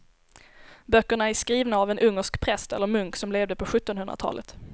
Böckerna är skrivna av en ungersk präst eller munk som levde på sjuttonhundratalet.